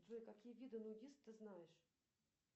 джой какие виды нудист ты знаешь